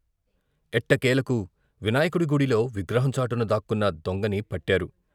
ఎట్టకేలకు వినాయ కుడి గుడిలో విగ్రహం చాటున దాక్కున్న దొంగని పట్టారు.